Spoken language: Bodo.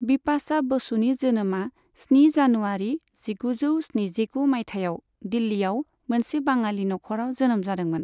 बिपाशा बसुनि जोनोमा स्नि जानुवारी जिगुजौ स्निजिगु मायथाइयाव दिल्लीआव मोनसे बाङालि नखराव जोनोम जादोंमोन।